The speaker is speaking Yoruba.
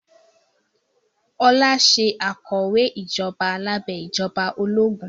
Ọlá ṣe akọ̀wé ìjọba lábẹ́ ìjọba ológun